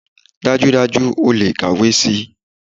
Dájúdájú, ó le kàwé si.